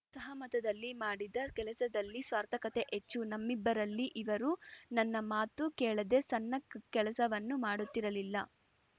ಸಹಮತದಲ್ಲಿ ಮಾಡಿದ ಕೆಲಸದಲ್ಲಿ ಸಾರ್ಥಕತೆ ಹೆಚ್ಚು ನಮ್ಮಿಬ್ಬರಲ್ಲಿ ಇವರು ನನ್ನ ಮಾತು ಕೇಳದೇ ಸಣ್ಣ ಕೆಲಸವನ್ನೂ ಮಾಡುತ್ತಿರಲಿಲ್ಲ